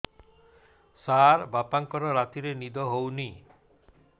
ସାର ବାପାଙ୍କର ରାତିରେ ନିଦ ହଉନି